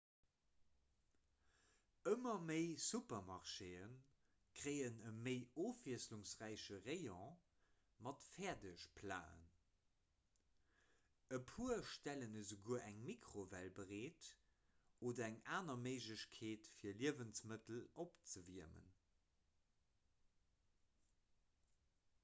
ëmmer méi supermarchée kréien e méi ofwiesselungsräiche rayon mat fäerdegplaten e puer stellen esouguer eng mikrowell bereet oder eng aner méiglechkeet fir liewensmëttel opzewiermen